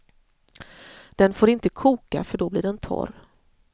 Den får inte koka för då blir den torr.